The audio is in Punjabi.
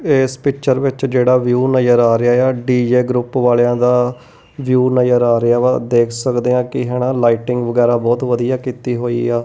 ਏਸ ਪਿਕਚਰ ਵਿੱਚ ਜੇਹੜਾ ਵਿਊ ਨਜਰ ਆ ਰਿਹਾ ਯਾ ਡੀ_ਜੇ ਗਰੁੱਪ ਵਾਲੇਂਆਂ ਦਾ ਵਿਊ ਨਜਰ ਆ ਰਿਹਾਵਾ ਦੇਖ ਸਕਦੇ ਹਾਂ ਕੀ ਹੈਣਾ ਲਾਇਟਿੰਗ ਵਗੈਰਾ ਬਹੁਤ ਵਧੀਆ ਕੀਤੀ ਹੋਇਆ।